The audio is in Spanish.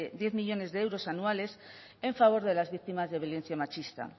diez millónes de euros anuales en favor de las víctimas de violencia machista